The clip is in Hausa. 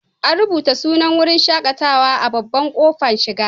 An rubuta sunan wurin shaƙatawar a babban ƙofar shiga.